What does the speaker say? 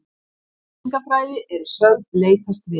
Menningarfræði eru sögð leitast við